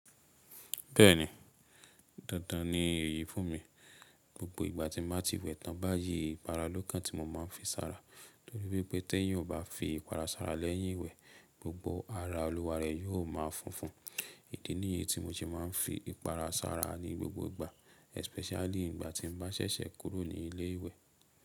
Bẹ́ẹ̀ni, dandan ni èyí fún mi. Gbogbo ìgbà tí màá ti wẹ̀ tán báyìí, ìpara ló kàn tí mo máa ń fi sára torí wípé tẹ́ẹ̀ yín ò bá fi ìpara sára lẹ́yìn ìwẹ̀, gbogbo ara olúwa rẹ̀ yóò máa fúnfún. Ìdí nìyí tí mo ti máa ń fi ìpara sára ní gbogbo ìgbà, especially ìgbà tí n bá ṣẹ̀ṣẹ̀ kúrò ní ilé ìwẹ̀.